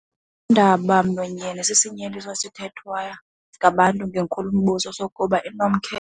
Undaba-mlonyeni sisinyeliso esithethwa ngabantu ngenkulumbuso sokuba inomkhe.